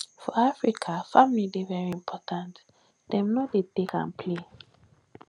for africa family dey very important dem no dey take am play